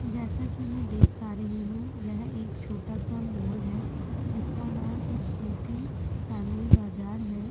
जैसा कि मैं देख पा रही हू यह एक छोटा सा मोल है इसका नाम इसपूठी फेमिली बजार है।